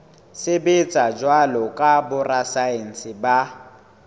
sebetsa jwalo ka borasaense ba